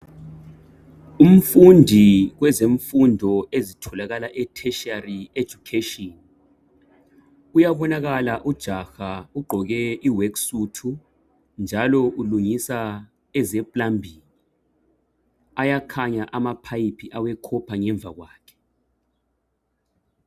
Umfundi kwezefundo ezitholakala ethetshari education uyabonakala ujaha ugqoke i workout njalo ulungiswa eze plumbing ayakhanya ama pipe awekhopha ngomva kwakhe.